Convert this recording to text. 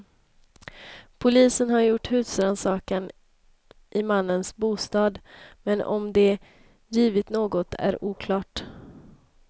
Polisen har gjort husrannsakan i mannens bostad, men om det givit något är oklart.